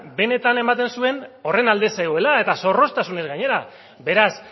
benetan ematen zuen horren alde zegoela eta zorroztasunez gainera beraz